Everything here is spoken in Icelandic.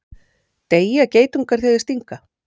Deyja geitungar þegar þeir stinga?